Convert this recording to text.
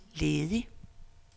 ledig